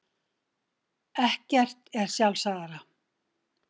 Ekkert er sjálfsagðara.